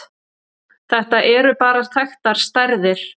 Þetta eru bara þekktar stærðir.